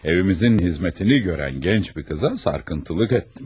Evimizin xidmətini görən gənc bir qıza sarkıntılık etdim.